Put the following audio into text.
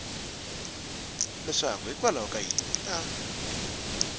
leswaku hikwalaho ka yini a